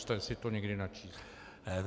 Zkuste si to někdy načíst.